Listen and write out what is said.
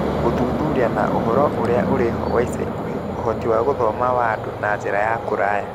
Gũthuthuria na ũhoro ũrĩa ũrĩ ho wa ica ikuhĩ), ũhoti wa gũthoma wa andũ na njĩra ya kũraya